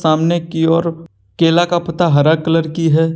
सामने की ओर केला का पत्ता हरा कलर की है।